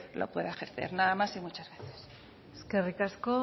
lo pueda ejercer nada más y muchas gracias eskerrik asko